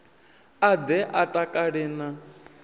a ḓe a takale na